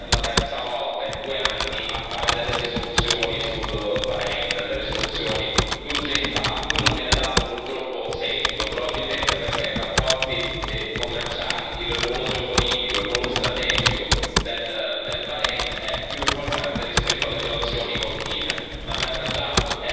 Noi ci ritroviamo qui, per la terza volta in due anni, a fare delle risoluzioni sul Bahrein, delle risoluzioni d'urgenza a cui non viene dato purtroppo seguito, probabilmente perché i rapporti commerciali, il ruolo geopolitico, il ruolo strategico del Bahrein è più importante rispetto alle violazioni continue.